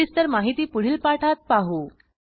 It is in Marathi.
सविस्तर माहिती पुढील पाठात पाहू